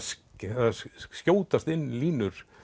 það skjótast inn línur